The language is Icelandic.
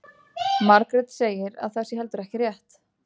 Margrét segir að það sé heldur ekki rétt.